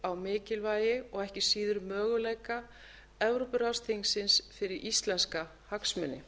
á mikilvægi og ekki síður möguleika evrópuráðsþingsins fyrir íslenska hagsmuni